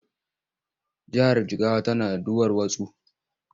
Jihar Jigawa tana da duwarwatsu.